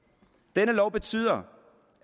denne lov betyder